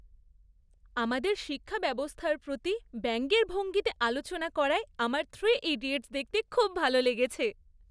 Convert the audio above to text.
আমাদের শিক্ষাব্যবস্থার প্রতি ব্যঙ্গের ভঙ্গিতে আলোচনা করায় আমার 'থ্রি ইডিয়টস" দেখতে খুব ভাল লেগেছে।